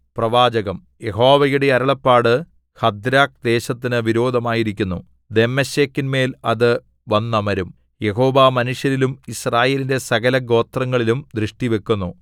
പ്രവാചകം യഹോവയുടെ അരുളപ്പാട് ഹദ്രാക്ക്ദേശത്തിനു വിരോധമായിരിക്കുന്നു ദമ്മേശെക്കിന്മേൽ അത് വന്നമരും യഹോവ മനുഷ്യരിലും യിസ്രായേലിന്റെ സകല ഗോത്രങ്ങളിലും ദൃഷ്ടിവക്കുന്നു